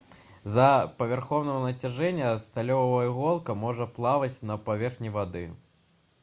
з-за павярхоўнага нацяжэння сталёвая іголка можа плаваць на паверхні вады